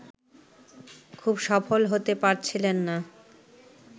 খুব সফল হতে পারছিলেন না